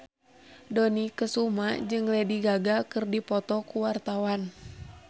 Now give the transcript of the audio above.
Dony Kesuma jeung Lady Gaga keur dipoto ku wartawan